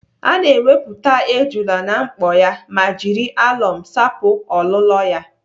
Ana ewepụta ejula na mkpo ya ma jiri alọm sapụ olụlọ ya.